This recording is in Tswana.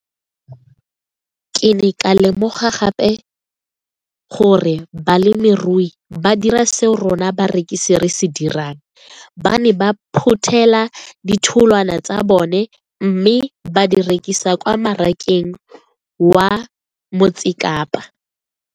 Ke ne ka lemoga gape gore balemirui ba dira seo rona barekisi re se dirang - ba ne ba phuthela ditholwana tsa bona mme ba di rekisa kwa marakeng wa Motsekapa.